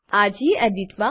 આ ગેડિટ